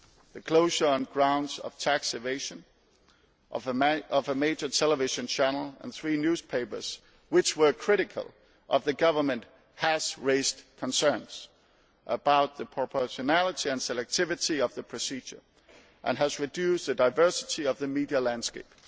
The closure, on grounds of tax evasion, of a major television channel and three newspapers which were critical of the government has raised concerns about the proportionality and selectivity of the procedure and has reduced the diversity of the media landscape.